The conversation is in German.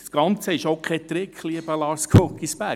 Das Ganze ist auch kein Trick, lieber Lars Guggisberg.